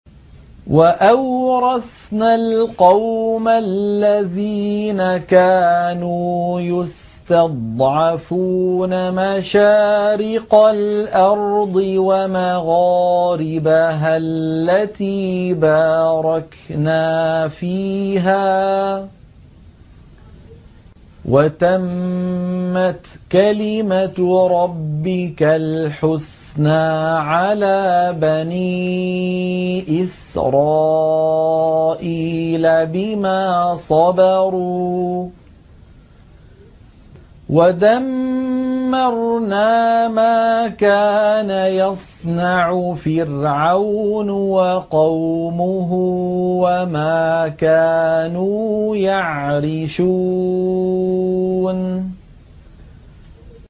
وَأَوْرَثْنَا الْقَوْمَ الَّذِينَ كَانُوا يُسْتَضْعَفُونَ مَشَارِقَ الْأَرْضِ وَمَغَارِبَهَا الَّتِي بَارَكْنَا فِيهَا ۖ وَتَمَّتْ كَلِمَتُ رَبِّكَ الْحُسْنَىٰ عَلَىٰ بَنِي إِسْرَائِيلَ بِمَا صَبَرُوا ۖ وَدَمَّرْنَا مَا كَانَ يَصْنَعُ فِرْعَوْنُ وَقَوْمُهُ وَمَا كَانُوا يَعْرِشُونَ